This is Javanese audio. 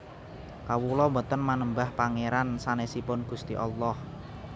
Kawula boten manembah Pangeran sanesipun Gusti Allah